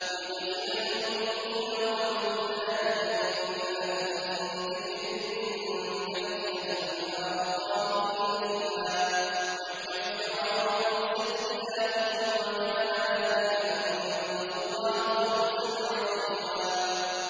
لِّيُدْخِلَ الْمُؤْمِنِينَ وَالْمُؤْمِنَاتِ جَنَّاتٍ تَجْرِي مِن تَحْتِهَا الْأَنْهَارُ خَالِدِينَ فِيهَا وَيُكَفِّرَ عَنْهُمْ سَيِّئَاتِهِمْ ۚ وَكَانَ ذَٰلِكَ عِندَ اللَّهِ فَوْزًا عَظِيمًا